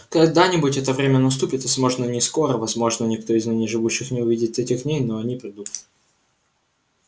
когда-нибудь это время наступит возможно не скоро возможно никто из ныне живущих не увидит этих дней но они придут